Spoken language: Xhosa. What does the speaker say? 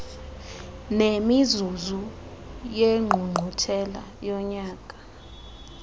nemizuzu yengqungquthela yonyaka